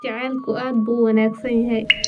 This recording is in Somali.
Jacaylku aad buu u wanaagsan yahay.